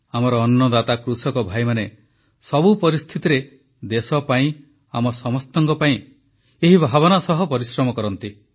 ଆମର ଅନ୍ନଦାତା କୃଷକ ଭାଇମାନେ ସବୁ ପରିସ୍ଥିତିରେ ଦେଶ ପାଇଁ ଆମ ସମସ୍ତଙ୍କ ପାଇଁ ଏହି ଭାବନା ସହ ପରିଶ୍ରମ କରନ୍ତି